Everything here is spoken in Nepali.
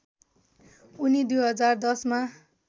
उनी २०१० मा